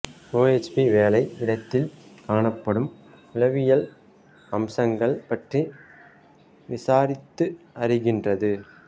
OHP வேலை இடத்தில் காணப்படும் உளவியல் அம்சங்கள் பற்றி விசாரித்து அறிகின்றது